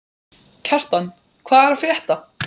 Kjartan, hvað er að frétta?